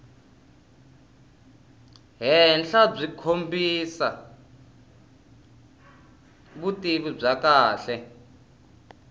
henhlabyi kombisa vutivi byo kahle